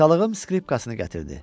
Atalığım skripkasını gətirdi.